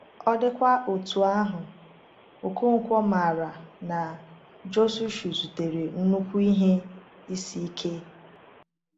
Ọ dịkwa otú ahụ, Okonkwo maara na Jisọshụ zutere nnukwu ihe isi ike.